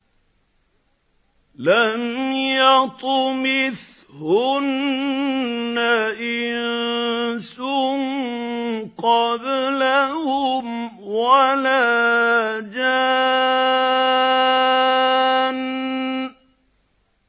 لَمْ يَطْمِثْهُنَّ إِنسٌ قَبْلَهُمْ وَلَا جَانٌّ